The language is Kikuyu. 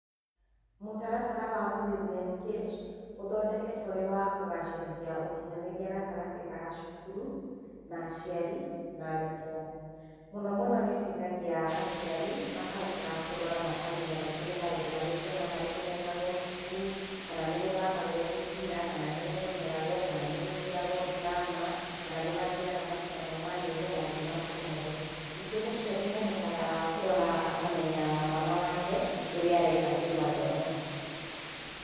Mũtaratara wa Mzizi Engage ũthondeketwo ũrĩ wa kũgacĩrithia ũkinyanĩria gatagatĩ ga cukuru, na aciari na arutwo. Mũnomũno nĩ ũteithagia aciari makahotaga kũrora, makamenya rĩngĩ nĩ maũndũ marĩkũ na marĩkũ mekagwo cukuru, kana nĩ gũthakagwo mĩbira kana nĩ gũteng'eragwo, kana nĩ gũthiagwo drama, kana nĩ mathiaga macindano ma nyĩmbo, maũndũ macio mothe. Ningĩ mũciari nĩahotaga kũrora akamenya mwana wake ũrĩa areka kĩmathomo.